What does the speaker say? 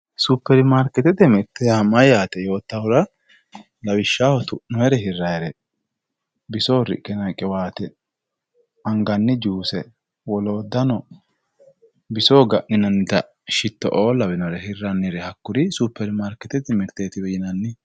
supperimarikeetete mirite yaa mayyate yoottahura lawishshaho tu'noyre hirrayire bisoho riqqinayi qiwaate anganni juuse lawishshaho biso ga'ninannita shittooo lawinore hirrannire hakkuri superimaarikeetete miriteetiwe yinanni